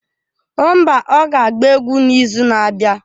Mba, ọ ga-agba egwu n'izu na-abịa.